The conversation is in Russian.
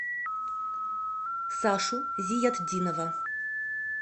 сашу зиятдинова